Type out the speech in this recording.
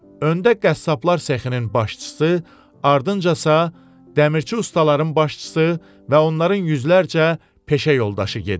Öndə qəssablar səxinin başçısı, ardınca isə dəmirçi ustaların başçısı və onların yüzlərcə peşə yoldaşı gedirdi.